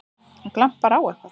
Það glampar á eitthvað!